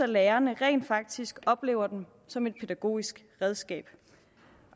lærerne rent faktisk oplever dem som et pædagogisk redskab